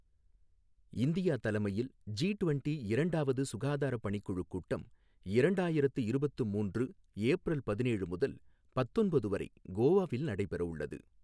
India தலைமையில் G twenty இரண்டாவது சுகாதார பணிக்குழு கூட்டம் இரண்டாயிரத்து இருவத்து மூன்று ஏப்ரல் பதினேழு முதல் பத்தொன்பது வரை கோவாவில் நடைபெற உள்ளது.